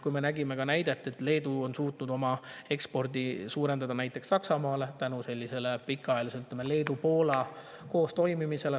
Me nägime, et Leedu on suutnud suurendada oma eksporti näiteks Saksamaale tänu Leedu ja Poola pikaajalisele koos toimimisele.